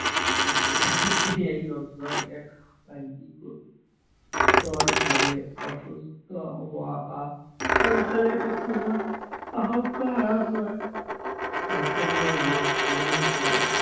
এইটো এক পৰ ভাৱে অসুস্থ হোৱা বা সোনকালে মৃত্যু হোৱা আশংকা নাশ হয় স্বাস্থ্য কেৱল ৰোগ পৰিহাৰ কৰাৰ